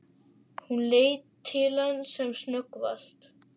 Hún leit til hans sem snöggvast.